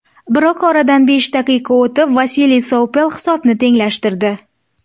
Biroq oradan besh daqiqa o‘tib Vasiliy Sovpel hisobni tenglashtirdi.